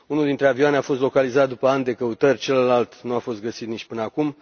Unul dintre avioane a fost localizat după ani de căutări, celălalt nu a fost găsit nici până acum.